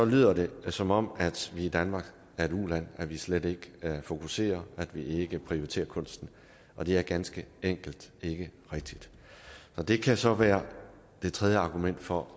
lyder det som om at vi i danmark er et uland at vi slet ikke fokuserer at vi ikke prioriterer kunsten og det er ganske enkelt ikke rigtigt det kan så være det tredje argument for